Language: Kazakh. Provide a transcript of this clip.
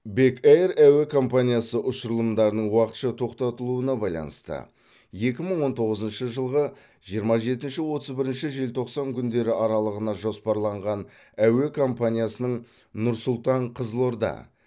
бек эйр әуе компаниясы ұшырылымдарының уақытша тоқтатылуына байланысты екі мың он тоғызыншы жылғы жиырма жетінші отыз бірінші желтоқсан күндері аралығына жоспарланған әуе компаниясының нұрсұлтан қызылорда